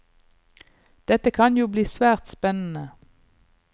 Dette kan jo bli svært spennende.